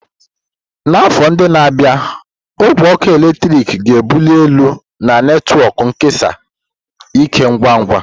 N'afọ ndị na-abịa, ogwe ọkụ eletrik ga-ebuli elu na netwọk nkesa ike ngwa ngwa.